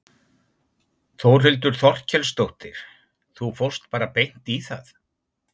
Þórhildur Þorkelsdóttir: Þú fórst bara beint í það?